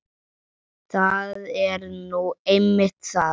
Það er nú einmitt það!